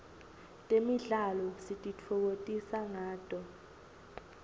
temidlalo sititfokotisa ngato